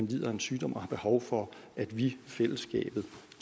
lider af en sygdom og behov for at vi fællesskabet